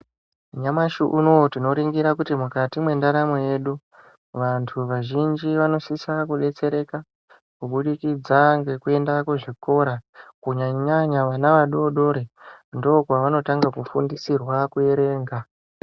Nyamashi unouyu tinoringira kuti mukati mwendaramo yedu. Vantu vazhinji vanosisa kubetsereka kubudikidza ngekuenda kuzvikora kunyanya-nyanya, vana vadodori ndokwavanotanga kufundisirwa kuerenga.